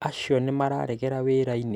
acio nĩ mararegera wĩra-inĩ?